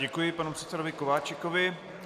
Děkuji panu předsedovi Kováčikovi.